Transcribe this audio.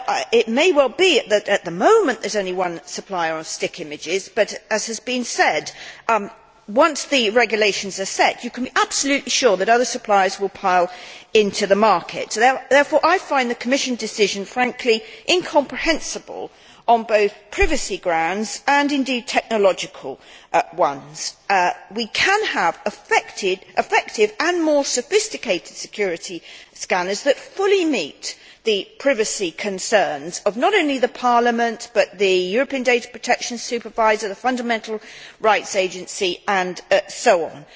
It may well be that, at the moment, there is only one supplier of stick images but, as has been said, once the regulations are set, you can be absolutely sure that other suppliers will pile into the market. Therefore I find the Commission decision frankly incomprehensible on both privacy and, indeed, technological grounds. We can have effective and more sophisticated security scanners that fully meet the privacy concerns, not only of the Parliament but the European Data Protection Supervisor, the Fundamental Rights Agency and so on.